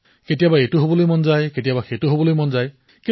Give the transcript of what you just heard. কেতিয়াবা এইটো হবলৈ মন যায় কেতিয়াবা সেইটো হবলৈ মন যায়